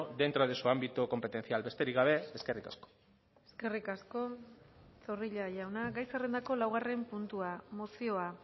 dentro de su ámbito competencial besterik gabe eskerrik asko eskerrik asko zorrilla jauna gai zerrendako laugarren puntua mozioa